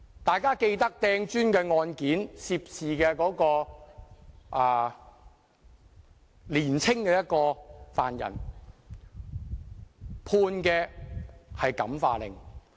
大家記得擲磚的案件，涉事的年青犯人被判感化令。